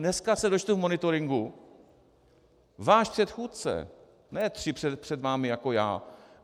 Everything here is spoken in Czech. Dneska se dočtu v monitoringu - váš předchůdce, ne tři před vámi jako já.